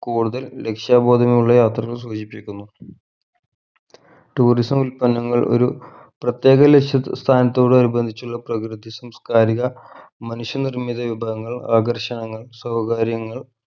കൂടുതൽ ലക്ഷ്യ ബോധമുള്ള യാത്രകൾ സൂചിപ്പിക്കുന്നു tourism ഉൽപ്പന്നങ്ങൾ ഒരു പ്രത്യേക ലക്ഷ്യ സ്ഥാനത്തോടനുബന്ധിച്ചുള്ള പ്രകൃതി സാംസ്കാരിക മനുഷ്യ നിർമിത വിഭവങ്ങൾ ആകർഷണങ്ങൾ സൗകര്യങ്ങൾ